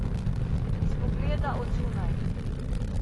Iz pogleda od zunaj.